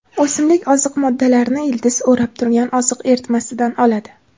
O‘simlik oziq moddalarni ildizni o‘rab turgan oziq eritmasidan oladi.